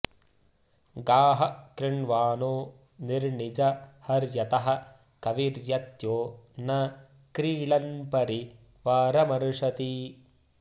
गाः कृ॑ण्वा॒नो नि॒र्णिजं॑ हर्य॒तः क॒विरत्यो॒ न क्रीळ॒न्परि॒ वार॑मर्षति